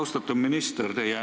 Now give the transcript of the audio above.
Austatud minister!